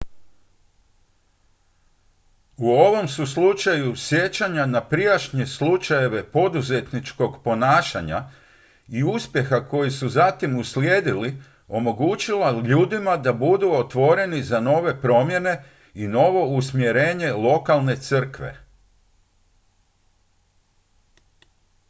u ovom su slučaju sjećanja na prijašnje slučajeve poduzetničkog ponašanja i uspjeha koji su zatim uslijedili omogućila ljudima da budu otvoreni za nove promjene i novo usmjerenje lokalne crkve